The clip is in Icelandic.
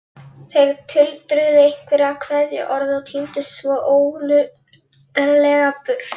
Þeir tuldruðu einhver kveðjuorð og tíndust svo ólundarlega burt.